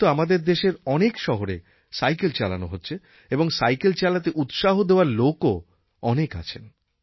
এখন তো আমাদের দেশের অনেক শহরে সাইকেল চালানো হছে এবং সাইকেল চালাতে উৎসাহ দেওয়ার লোকও অনেক আছেন